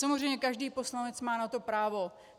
Samozřejmě každý poslanec má na to právo.